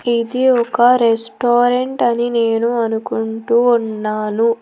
ఇది ఒక రెస్టారెంట్ అని నేను అనుకుంటూ ఉన్నాను.